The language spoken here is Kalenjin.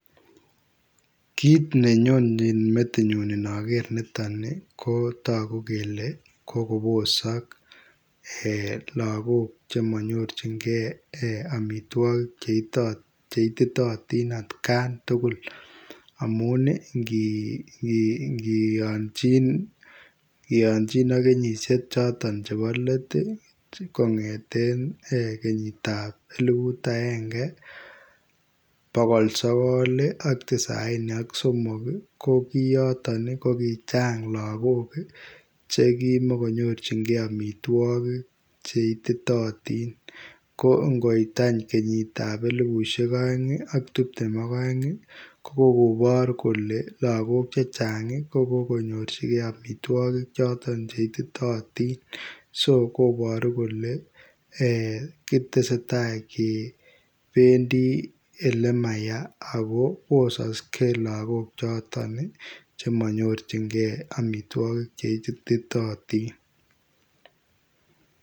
Kit nenyone metinyu inoker niton kotogu kele kokobosok lagok chemonyonjigee ee omitwogik cheititotin en atkan tugul , amun ii ingiyonchin ak kenyishek choton chebo let kongeten kenyitab eliput agenge bogol sogol ii ak tisaini ak somok ii kokiyoton kokichang lagok ii chekimogonyorjingee omitwogik cheititotin ko ingoit any kenyitab elipushek oeng ak tiptem ok oeng ii kokobor kole lagok chechang kokokonyorjigee omitwogik choton cheititotin, so koboru kole ee kutesee taa kebendi elemaya kibosoksee lagok choton chemonyornjingee omitwogik choton chemoititotin